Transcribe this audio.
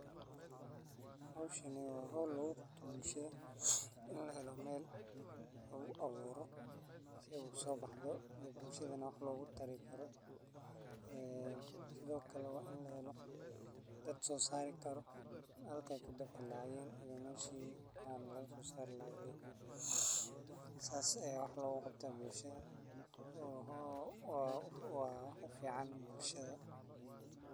Howshani waa howl laguqabto bulshada in lahelo meel lagu abuuro si usoobaxdo o bulshada neh wax logutari karo ee sidhoo kale waa in lahelo dad soosari karo halkey kabixi lahaayen iyo meshii aan lagasosaari lahaa le. saas ayaa wax looguqabtaa bulshada waa ufican bulshada.